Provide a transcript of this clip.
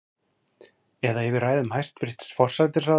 Eða yfir ræðum hæstvirts forsætisráðherra?